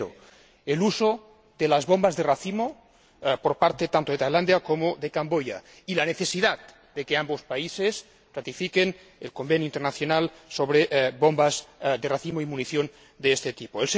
El primero, el uso de las bombas de racimo por parte tanto de Tailandia como de Camboya, y la necesidad de que ambos países ratifiquen el Convenio internacional sobre bombas de racimo y munición de este tipo.